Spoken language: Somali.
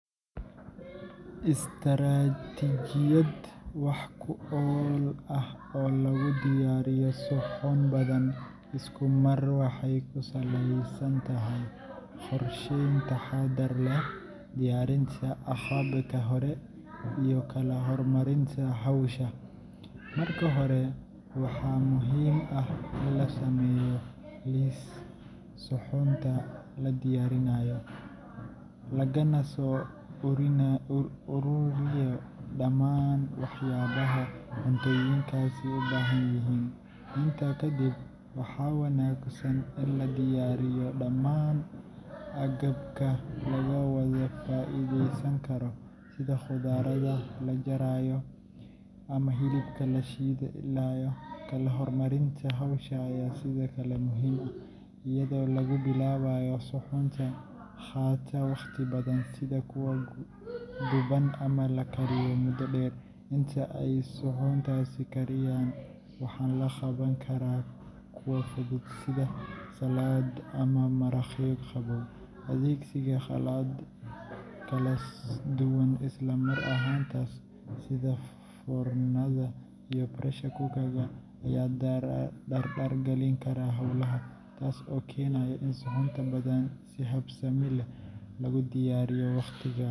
Istaraatijiyad wax ku ool ah oo lagu diyaariyo suxuun badan isku mar waxay ku salaysan tahay qorsheyn taxaddar leh, diyaarinta agabka hore, iyo kala hormarinta hawsha. Marka hore, waxaa muhiim ah in la sameeyo liis suxuunta la diyaarinayo, lagana soo ururiyo dhammaan waxyaabaha cuntooyinkaasi u baahan yihiin. Intaa kadib, waxaa wanaagsan in la diyaariyo dhammaan agabka laga wada faa’iideysan karo, sida khudradda la jarayo ama hilibka la shiilayo. Kala hormarinta hawsha ayaa sidoo kale muhiim ah, iyadoo lagu bilaabayo suxuunta qaata waqti badan sida kuwa duban ama la kariyo muddo dheer. Inta ay suxuuntaasi kariyaan, waxaa la qaban karaa kuwa fudud sida salad ama maraqyo qabow. Adeegsiga qalab kala duwan isla mar ahaantaas, sida foornada iyo pressure cooker, ayaa dardar galin kara howlaha, taas oo keenaysa in suxuun badan si habsami leh loogu diyaariyo waqti gaab.